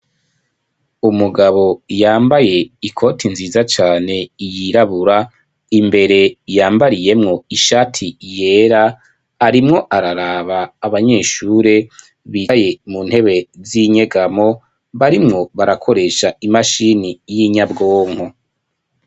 Umugabo yambaye ikoti nziza cane yirabura, imbere yambariyemwo ishati yera, arimwo araraba abanyeshure bicaye mu ntebe z'inyegamo, barimwo barakoresha imashini y'inyabwonko.